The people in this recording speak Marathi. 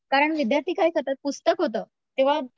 कारण विद्यार्थी काय करतात, पुस्तक होतं तेव्हा